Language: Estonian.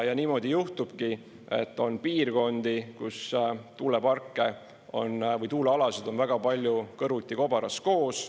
Ja niimoodi juhtubki, et on piirkondi, kus tuuleparke või tuulealasid on väga palju kõrvuti kobaras koos.